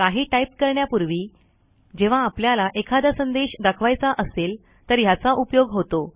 काही टाईप करण्यापूर्वी जेव्हा आपल्याला एखादा संदेश दाखवायचा असेल तर ह्याचा उपयोग होतो